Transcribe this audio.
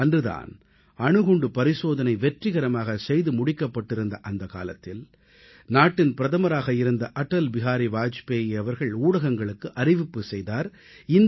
அன்று தான் அணுகுண்டு பரிசோதனை வெற்றிகரமாகச் செய்து முடிக்கப்பட்டிருந்ததை அப்போதைய பிரதமராக இருந்த அடல் பிஹாரி வாஜ்பேயி அவர்கள் ஊடகங்களுக்கு அறிவிப்பு செய்த நேரம் அது